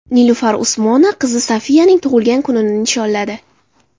Nilufar Usmonova qizi Safiyaning tug‘ilgan kunini nishonladi.